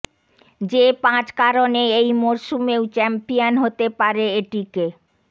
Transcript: যে পাঁচ কারণে এই মরসুমেও চ্যাম্পিয়ন হতে পারে এটিকে